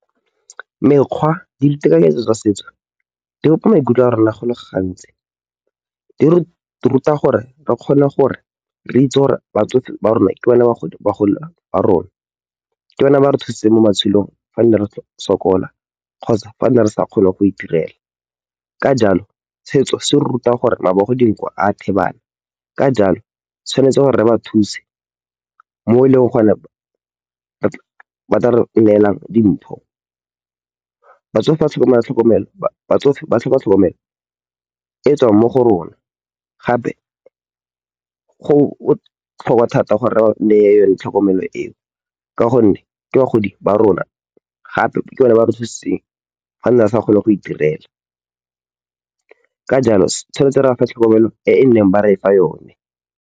Mekgwa le ditekanyetso tsa setso di bopa maikutlo a rona go le gantsi, di re ruta gore re kgone gore re itse gore batsofe ba rona ke bona bagolo ba rona. Ke bona ba re thusitseng mo matshelong fa nne re sokola kgotsa fa re ne re sa kgone go itirela. Ka jalo, tsheetso se re ruta gore mabogo dinko a thibana, ka jalo tshwanetse gore ba thuse mo e leng gore ba tla re neelang dintho. Batsofe ba tlhoka tlhokomelo e tswang mo go rona gape go botlhokwa thata gore re ba neye yone tlhokomelo eo. Ka gonne, ke bagodi ba rona gape ke bone ba re thusitseng fane re sa kgone go itirela. Ka jalo, se tshwanetse re bafa tlhokomelo e e neng ba re fa yone.